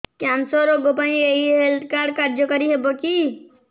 cancer ରୋଗ ପାଇଁ ଏଇ ହେଲ୍ଥ କାର୍ଡ କାର୍ଯ୍ୟକାରି ହେବ କି